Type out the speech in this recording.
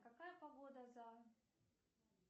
какая погода за